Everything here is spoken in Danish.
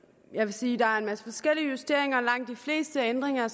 jeg vil sige der er en masse forskellige justeringer og langt de fleste af ændringerne